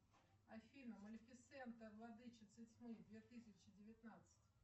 афина малифисента владычица тьмы две тысячи девятнадцать